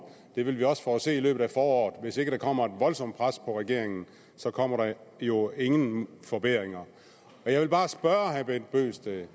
det vil vi også få at se i løbet af foråret at hvis der ikke kommer et voldsomt pres på regeringen så kommer der jo ingen forbedringer jeg vil bare spørge herre bent bøgsted